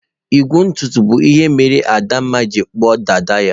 Igwu ntutu bụ ihe mere Adanma ji kpuo dada ya.